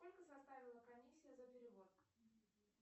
сколько составила комиссия за перевод